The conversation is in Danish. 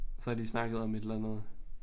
Så har de snakket om et eller andet